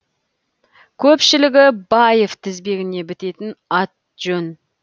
көпшілігі баев тізбегіне бітетін ат жөн